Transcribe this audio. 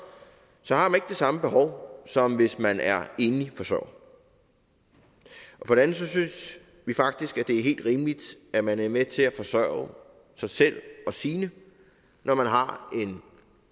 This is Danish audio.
har samme behov som hvis man er enlig forsørger for det andet synes vi faktisk at det er helt rimeligt at man er med til at forsørge sig selv og sine når man har en